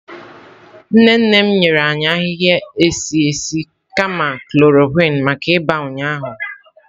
Nne nne m nyere anyị ahịhịa esi nri kama Nne nne m nyere anyị ahịhịa esi esi kama chloroquine maka ịba ụnyaahụ. maka ịba ụnyaahụ.